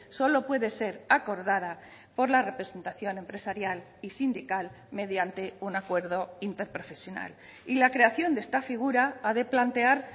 solo puede ser acordada por la representación empresarial y sindical mediante un acuerdo interprofesional y la creación de esta figura ha de plantear